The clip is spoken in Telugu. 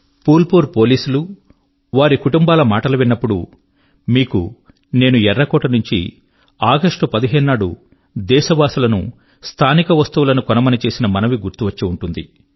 ఫుల్ పూర్ పోలీసు వారి వారి కుటుంబాల వారి మాట విన్నప్పుడు మీకు నేను ఎర్రకోట నుంచి 15 ఆగస్ట్ నాడు దేశవాసులను స్థానిక వస్తువుల ను కొనమని చేసిన మనవి గుర్తు వచ్చి ఉంటుంది